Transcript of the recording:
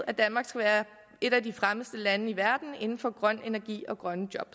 at danmark skal være et af de fremmeste lande i verden inden for grøn energi og grønne job